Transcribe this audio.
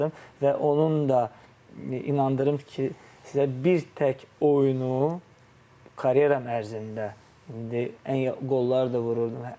Və onun da inandırım ki, sizə bir tək oyunu karyeram ərzində indi ən qollar da vururdum.